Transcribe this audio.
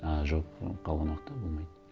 а жоқ қалған уақытта болмайды